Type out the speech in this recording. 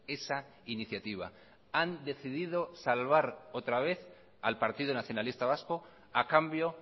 esa iniciativa han decidido salvar otra vez al partido nacionalista vasco ha cambio